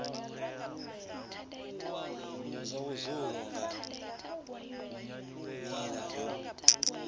zwa vhudzulo nga nila yo